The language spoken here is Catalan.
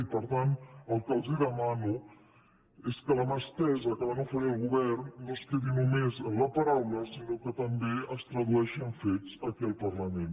i per tant el que els demano és que la mà estesa que van oferir al govern no es quedi només en la paraula sinó que també es tradueixi en fets aquí al parlament